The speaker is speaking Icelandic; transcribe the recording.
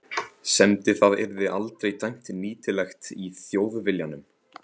semdi það yrði aldrei dæmt nýtilegt í Þjóðviljanum.